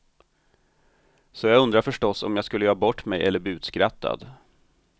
Så jag undrade förstås om jag skulle göra bort mig och bli utskrattad.